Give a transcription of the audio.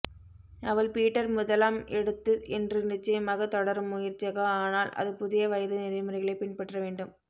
அவள் பீட்டர் முதலாம் எடுத்து என்று நிச்சயமாக தொடரும் முயற்சியாக ஆனால் அது புதிய வயது நெறிமுறைகளைப் பின்பற்ற வேண்டும்